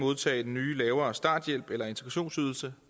modtage den nye lavere starthjælp eller integrationsydelse